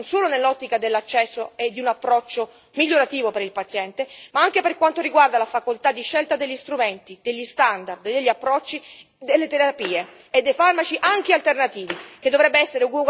Questo diritto dovrebbe essere protetto, non solo nell'ottica dell'accesso e di un approccio migliorativo per il paziente, ma anche per quanto riguarda la facoltà di scelta degli strumenti, degli standard, degli approcci, delle terapie e dei farmaci anche alternativi che dovrebbe essere ugualmente garantita.